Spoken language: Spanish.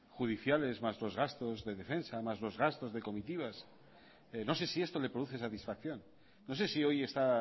judiciales más los gastos de defensa más los gastos de comitivas no sé si esto le produce satisfacción no sé si hoy está